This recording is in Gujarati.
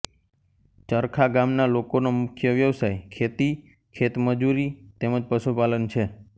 ચરખા ગામના લોકોનો મુખ્ય વ્યવસાય ખેતી ખેતમજૂરી તેમ જ પશુપાલન છે